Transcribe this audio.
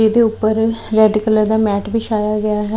ਇਹਦੇ ਉੱਪਰ red colour ਦਾ ਮੈਟ ਵਿਛਿਆ ਗਿਆ ਹੈ।